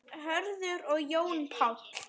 Hörður og Jón Páll.